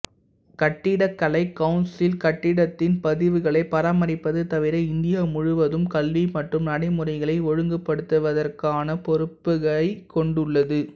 கட்டிடக்கலை கவுன்சில் கட்டடத்தின் பதிவுகளை பராமரிப்பது தவிர இந்தியா முழுவதும் கல்வி மற்றும் நடைமுறைகளை ஒழுங்குபடுத்துவதற்கான பொறுப்பைக் கொண்டுள்ளது